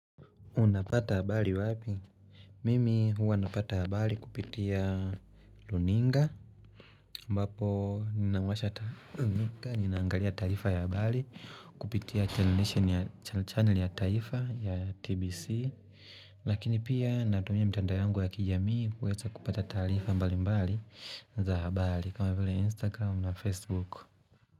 Unapata habali wapi? Mimi huwa napata habali kupitia luninga. Mbapo ninaangalia taifa ya habali. Kupitia channel ya taifa ya TBC. Lakini pia natumia mtandao yangu ya kijamii kuweza kupata taifa mbali mbali za habali kama vile Instagram na Facebook.